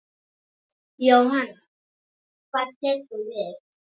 Jóhann: Hvað tekur við?